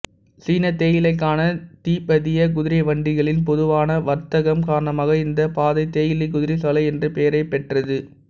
சீன தேயிலைக்கான திபெத்திய குதிரைவண்டிகளின் பொதுவான வர்த்தகம் காரணமாக இந்த பாதை தேயிலை குதிரை சாலை என்ற பெயரைப் பெற்றது